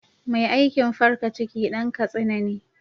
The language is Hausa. Mai aikin farka ciki Dan katsina ne.